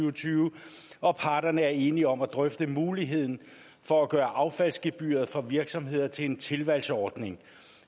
og tyve og parterne er enige om at drøfte muligheden for at gøre affaldsgebyret for virksomheder til en tilvalgsordning